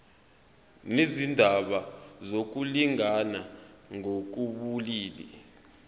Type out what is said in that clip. nezindaba zokulingana ngokobulili